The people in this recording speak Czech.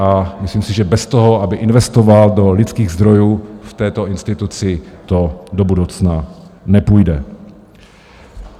A myslím si, že bez toho, aby investoval do lidských zdrojů v této instituci, to do budoucna nepůjde.